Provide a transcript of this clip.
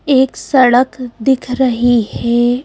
एक सड़क दिख रही हे ।